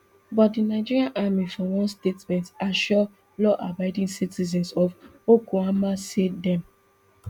but di nigerian army for one statement assure lawabiding citizens of okuama say dem